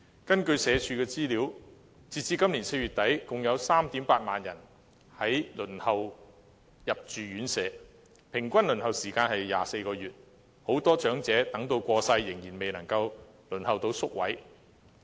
根據社會福利署的資料，截至今年4月底，共有 38,000 人輪候入住院舍，平均輪候時間為24個月，很多長者等到過世仍然未能得到宿位。